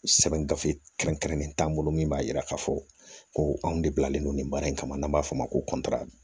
Sɛbɛn gafe kɛrɛnkɛrɛnnen t'an bolo min b'a jira k'a fɔ ko anw bilalen don nin baara in kama n'an b'a f'o ma ko kɔntira